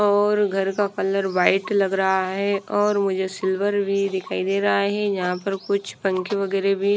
और घर का कलर व्हाइट लग रहा है और मुझे सिल्वर भी दिखाई दे रहा है यहां पर कुछ पंखे वगैरे भी--